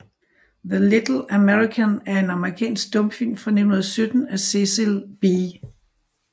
The Little American er en amerikansk stumfilm fra 1917 af Cecil B